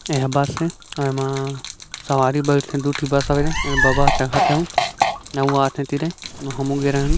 एह बस ए एमा सवारी बैयठें दू ठी बस हावे ए बबा चढ़थे अउ अउ आथें एती ले हमु गे रेहेन।